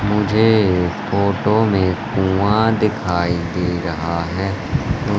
मुझे फोटो में कुआं दिखाई दे रहा है।